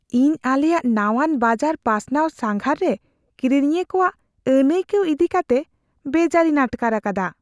ᱤᱧ ᱟᱞᱮᱭᱟᱜ ᱱᱟᱣᱟᱱ ᱵᱟᱡᱟᱨ ᱯᱟᱥᱱᱟᱣ ᱥᱟᱸᱜᱷᱟᱨ ᱨᱮ ᱠᱤᱨᱤᱧᱤᱭᱟᱹ ᱠᱚᱣᱟᱜ ᱟᱹᱱᱟᱹᱭᱠᱟᱹᱣ ᱤᱫᱤ ᱠᱟᱛᱮ ᱵᱮᱡᱟᱨᱤᱧ ᱟᱴᱠᱟᱨ ᱟᱠᱟᱫᱟ ᱾